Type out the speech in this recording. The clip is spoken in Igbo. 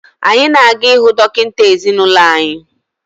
Anyị na-aga ịhụ dọkịta ezinụlọ anyị